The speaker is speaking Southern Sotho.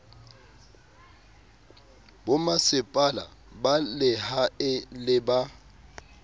bomasepala ba lehae le ba